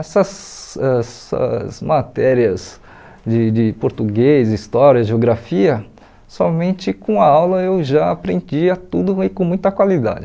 Essas essas matérias de de português, história, geografia, somente com a aula eu já aprendia tudo e com muita qualidade.